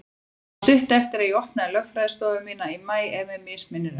Það var stuttu eftir að ég opnaði lögfræðiskrifstofu mína í maí, ef mig misminnir ekki.